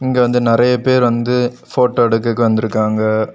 இங்க வந்து நிறைய பேர் வந்து போட்டோ எடுக்ககு வந்திருக்காங்க.